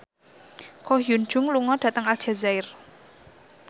Ko Hyun Jung lunga dhateng Aljazair